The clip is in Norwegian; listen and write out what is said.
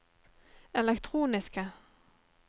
elektroniske